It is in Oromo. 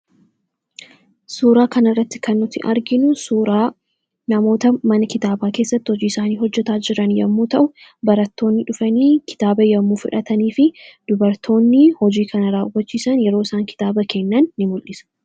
Suuraa kanarratti kan nuti arginu namoota mana kitaabaa keessatti hojiisaanii hojjachaa jiran yoo ta'u, barattoonni dhufanii kitaaba yommuu fudhatanii fi dubartoonni hojii kana raawwachiisan yeroo isaan kitaaba kennan ni mul'isa.